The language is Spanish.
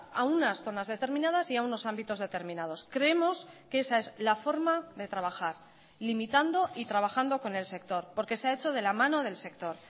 a unas zonas determinadas y a unos ámbitos determinados creemos que esa es la forma de trabajar limitando y trabajando con el sector porque se ha hecho de la mano del sector